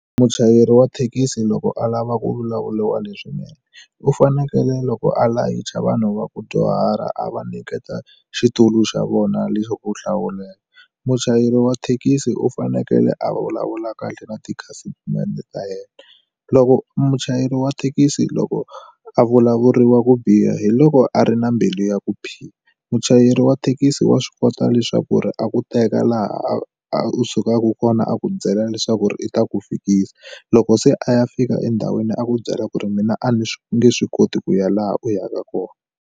Muchayeri wa thekisi loko a lava ku vulavuliwa leswinene u fanekele loko a layicha vanhu va ku dyuhara a va nyiketa xitulu xa vona leswaku u hlawula, muchayeri wa thekisi u fanekele a vulavula kahle na tikhasitamende ta yena loko muchayeri wa thekisi loko a vulavuriwa ku biha hiloko a ri na mbilu ya ku biha, muchayeri wa thekisi wa swi kota leswaku ri a ku teka laha a a u sukaka kona a ku byela leswaku ri u ta ku fikisa loko se a ya fika endhawini a ku byela ku ri mina a ni nge swi koti ku ya laha u yaka kona.